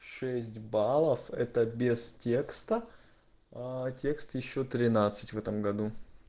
шесть баллов это без текста текст ещё тринадцать в этом году